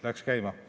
Läks käima.